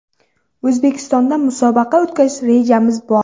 O‘zbekistonda musobaqa o‘tkazish rejamizda bor.